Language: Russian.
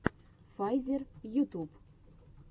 файзер ютуб